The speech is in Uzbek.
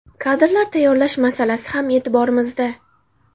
Kadrlar tayyorlash masalasi ham e’tiborimizda.